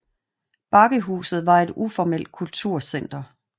Bakkehuset var var et uformelt kulturcenter